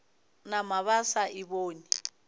nama ba sa e bone